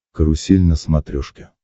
карусель на смотрешке